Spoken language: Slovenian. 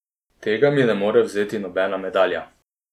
Tega mi ne more vzeti nobena medalja.